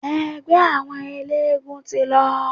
Ẹgbẹ́ àwọn eléegún ti lọ.